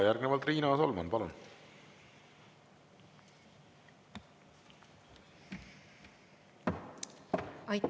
Järgnevalt Riina Solman, palun!